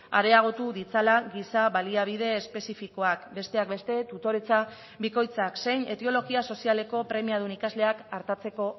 areagotu ditzala giza baliabide espezifikoak besteak beste tutoretza bikoitzak zein etiologia sozialeko premiadun ikasleak artatzeko